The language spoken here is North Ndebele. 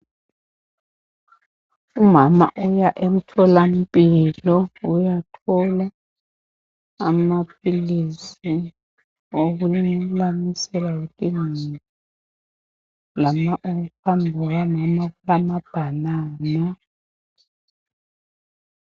Umama uya emtholampilo uyathola amaphilisi okulamisela imuli. Phambi kukamama kulamabhanana.